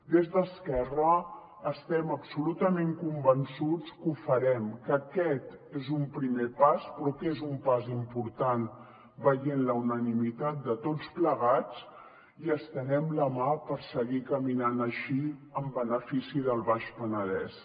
des d’esquerra estem absolutament convençuts que ho farem que aquest és un primer pas però que és un pas important veient la unanimitat de tots plegats i estenem la mà per seguir caminant així en benefici del baix penedès